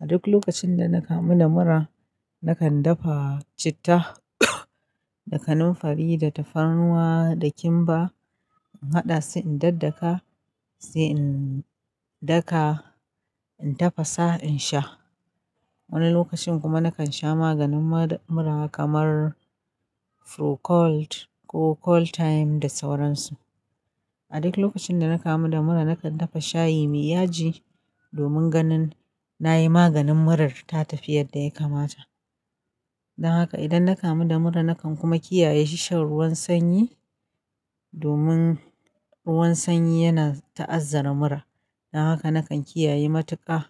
A duk lokacin da na kamu da mura, nakan dafa citta da kanamfari da tafarnuwa da kimba. In haɗa su, in daddaka, sai in daka, in tafasa in sha. Wani lokacin kuma nakan sha maganin mura kamar Procold ko Coldtime da sauransu. A duk lokacin da na kamu da mura nakan dafa shayi mai yaji domin ganin nayi maganin murar ta tafi yadda ya kamata. Don haka idan na kamu da mura nakan kuma kiyaye shan ruwan sanyi, domin ruwan sanyi yana ta'azzara mura. Don haka nakan kiyaye matuƙa